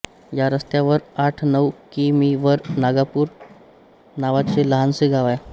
या रस्त्यावर आठ नऊ कि मी वर नागापूर नावाचे लहानसे गाव आहे